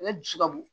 Ale dusu ka bon